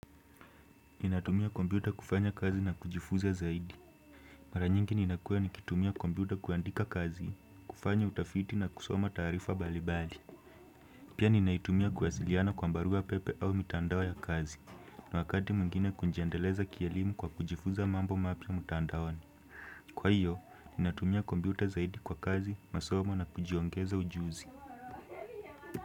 Ninatumia kompyuta kufanya kazi na kujifuza zaidi. Mara nyingi ninakuwa nikitumia kompyuta kuandika kazi, kufanya utafiti na kusoma taarifa mbali mbali. Pia ninaitumia kuwasiliana kwa barua pepe au mitandao ya kazi, na wakati mwingine kujiendeleza kielimu kwa kujifunza mambo mapya mtandaoni. Kwa hiyo, ninatumia kompyuta zaidi kwa kazi, masomo na kujiongeza ujuzi.